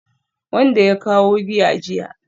Wanda ya kawo giya jiya